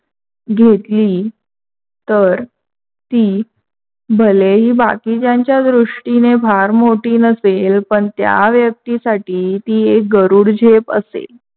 घेतली तर ती भलेही बाकीच्यांच्या दृष्टीने फार मोठी नसेल, पण त्या व्यक्तिसाथी गरुड झेप असेल.